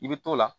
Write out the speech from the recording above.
I bɛ t'o la